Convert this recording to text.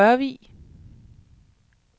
Rørvig